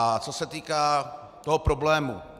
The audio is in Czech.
A co se týká toho problému.